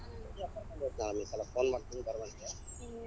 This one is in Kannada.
ಈ ಸಲಾ call ಮಾಡ್ತೀನಿ ಬರುವಂತಿ.